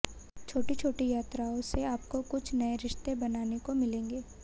छोटी छोटी यात्राओं से आपको कुछ नए रिश्ते बनाने को मिलेंगे